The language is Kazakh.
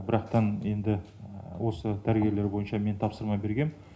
бірақтан енді осы дәрігерлер бойынша мен тапсырма бергем